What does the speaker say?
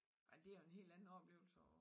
Ej det jo en helt anden oplevelse